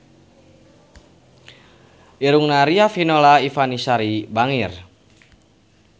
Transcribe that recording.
Irungna Riafinola Ifani Sari bangir